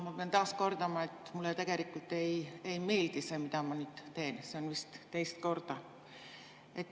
Ma pean taas kordama, et mulle tegelikult ei meeldi see, mida ma nüüd teen – seda vist teist korda.